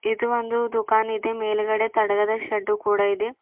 ಇದು ಒಂದು ದುಕಾನ್ ಇದೆ ಮೇಲ್ಗಡೆ ತಡಗದ ಶೆಡ್ಡು ಕೂಡ ಇದೆ.